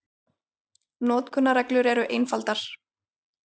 Notkunarreglur eru einfaldar.